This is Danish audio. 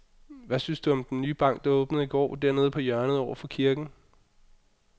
Hvad synes du om den nye bank, der åbnede i går dernede på hjørnet over for kirken?